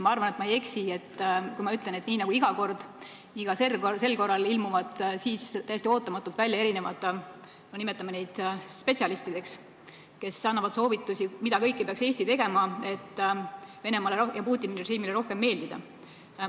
Ma arvan, et ma ei eksi, kui ma ütlen, et nii nagu iga kord nii ka sel korral ilmuvad siis täiesti ootamatult välja erinevad inimesed, nimetame neid spetsialistideks, kes annavad soovitusi, mida kõike peaks Eesti tegema, et Venemaale ja Putini režiimile rohkem meeldida.